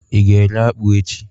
i ga ere akpu echi?